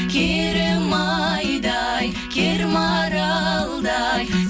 керім айдай кермаралдай